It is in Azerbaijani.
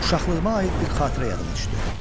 Uşaqlığıma aid bir xatirə yadıma düşdü.